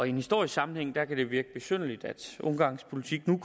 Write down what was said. i en historisk sammenhæng kan det virke besynderligt at ungarns politik nu